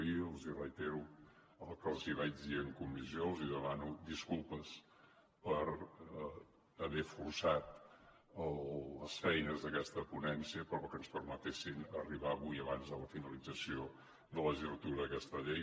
i els reitero el que els vaig dir en comissió els demano disculpes per haver forçat les feines d’aquesta ponència però que ens permetessin arribar avui abans de la finalització de la legislatura aquesta llei